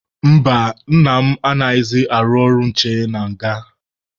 Mba, nna m anaghịzị arụ ọrụ nche na nga.